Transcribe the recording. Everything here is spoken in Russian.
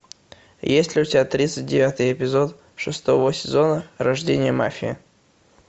есть ли у тебя тридцать девятый эпизод шестого сезона рождение мафии